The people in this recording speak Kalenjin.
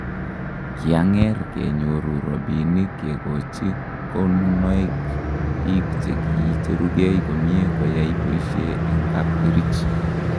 ki ang'er kenyoru robinik kekochi konunoek biik che kiicherugei komye koyai boisie eng' kapkerich